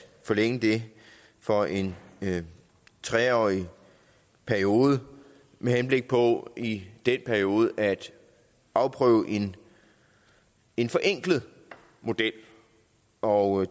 forlænge det for en tre årig periode med henblik på i den periode at afprøve en en forenklet model og